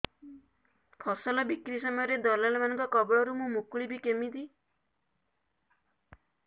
ଫସଲ ବିକ୍ରୀ ସମୟରେ ଦଲାଲ୍ ମାନଙ୍କ କବଳରୁ ମୁଁ ମୁକୁଳିଵି କେମିତି